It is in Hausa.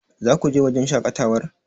Zaku wajen shaƙatawar?